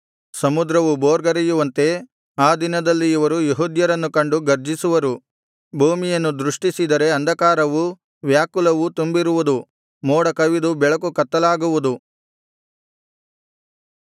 ಸಮುದ್ರವು ಭೋರ್ಗರೆಯುವಂತೆ ಆ ದಿನದಲ್ಲಿ ಇವರು ಯೆಹೂದ್ಯರನ್ನು ಕಂಡು ಗರ್ಜಿಸುವರು ಭೂಮಿಯನ್ನು ದೃಷ್ಟಿಸಿದರೆ ಅಂಧಕಾರವೂ ವ್ಯಾಕುಲವೂ ತುಂಬಿರುವುದು ಮೋಡ ಕವಿದು ಬೆಳಕು ಕತ್ತಲಾಗುವುದು